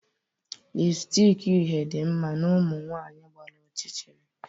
lipstick uhie dị mma na ụmụ nwanyị gbara ọchịchịrị